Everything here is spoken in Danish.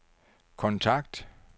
kontakt